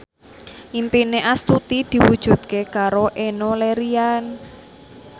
impine Astuti diwujudke karo Enno Lerian